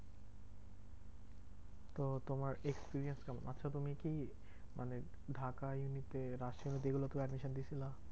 তো তোমার experience কেমন? আচ্ছা তুমি কি মানে ঢাকা ইউনি তে admission দিয়েছিলা?